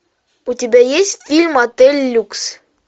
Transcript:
у тебя есть фильм отель люкс